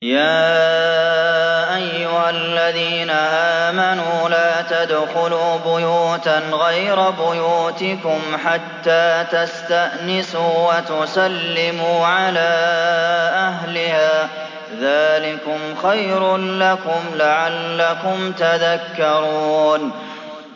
يَا أَيُّهَا الَّذِينَ آمَنُوا لَا تَدْخُلُوا بُيُوتًا غَيْرَ بُيُوتِكُمْ حَتَّىٰ تَسْتَأْنِسُوا وَتُسَلِّمُوا عَلَىٰ أَهْلِهَا ۚ ذَٰلِكُمْ خَيْرٌ لَّكُمْ لَعَلَّكُمْ تَذَكَّرُونَ